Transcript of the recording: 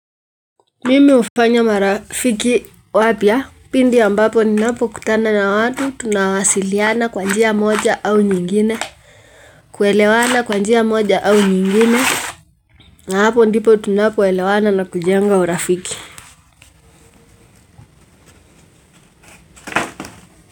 Mimi hufanya marafiki wapya pindi ambapo ninapokutana na watu, tunawasiliana kwa njia moja au nyingine. Kuelewana kwa njia moja au nyingine, na hapo ndipo tunapoelewana na kujenga urafiki.